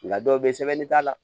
Nka dɔw bɛ yen sɛbɛnni t'a la